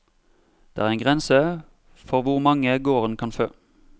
Det er en grense for hvor mange gården kan fø.